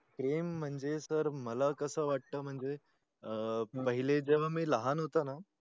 प्रेम म्हणजे sir मला कस वाट अं पहिले जेव्हा मी लहान होतो ना